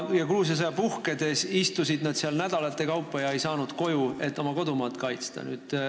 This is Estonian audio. Ja Gruusia sõja puhkedes istusid nad seal nädalate kaupa ega saanud koju, et oma kodumaad kaitsta.